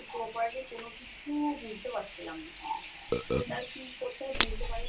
properly কোনো কিছু বুঝতে পারছিলাম না, কোনটার কী করতে হয় বুঝতে পারিনি।